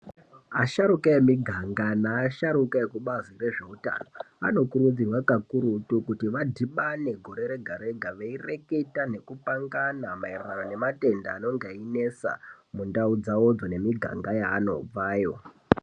Asahrukwaa vemiganga nevasharukwa vekubazi rezvehutano anokudziridzira kuti vadhibane gore Rega Rega veireketa nekupangana maererano nematenda anenge einetsa mundau mawo nemiganga yanobvayo.